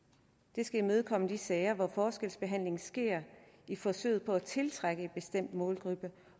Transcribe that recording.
det skal imødekomme de sager hvor forskelsbehandling sker i forsøget på at tiltrække en bestemt målgruppe